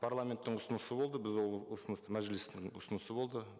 парламенттің ұсынысы болды біз ол ұсынысты мәжілістің ұсынысы болды